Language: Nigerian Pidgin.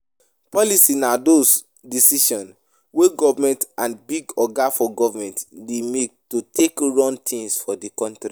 Policy na those decisions wey government and big oga for goverment dey make to take run things for di country